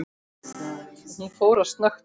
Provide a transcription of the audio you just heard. Hún fór að snökta.